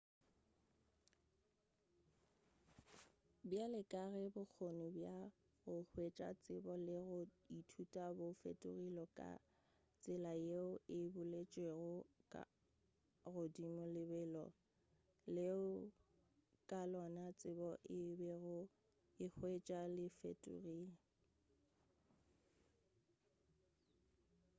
bjale ka ge bokgone bja go hwetša tsebo le go ithuta bo fetogile ka tsela yeo e boletšwego ka godimo lebelo leo ka lona tsebo e bego e hwetšwa le fetogile